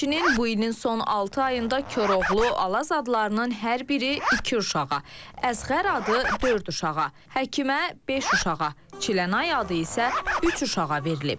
Həmçinin bu ilin son altı ayında Koroğlu, Alaz adlarının hər biri iki uşağa, Əzğər adı dörd uşağa, Həkimə beş uşağa, Çilənay adı isə üç uşağa verilib.